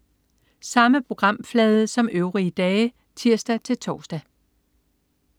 Samme programflade som øvrige dage (tirs-tors)